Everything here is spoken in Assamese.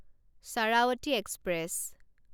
শাৰাৱতী এক্সপ্ৰেছ